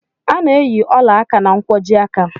A na-eyi ụla áká na nkwojiaka.